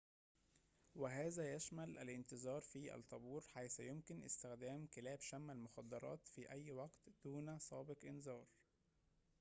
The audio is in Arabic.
وهذا يشمل الانتظار في الطابور حيث يمكن استخدام كلاب شم المخدرات في أي وقت دون سابق إنذار